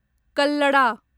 कल्लडा